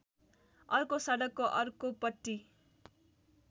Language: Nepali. अर्को सडकको अर्कोपट्टि